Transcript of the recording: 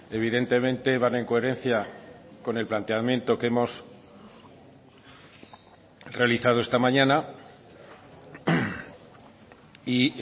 evidentemente van en coherencia con el planteamiento que hemos realizado esta mañana y